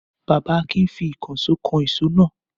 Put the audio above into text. Bàbá Akin fi ìkànṣó kan ìṣó náà.